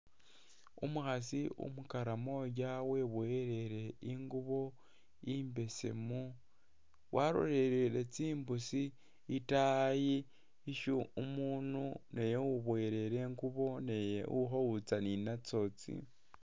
Umukhasi umukaramoja weboyelele tsingubo imbesemu walolelele tsimbusi itaayi isyo umunu uwiboyelele ingubo naye ikhowitsa ninatso tsi.